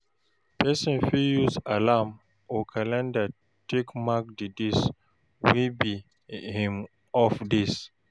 Person fit use alarm or calender take mark di days wey be im off days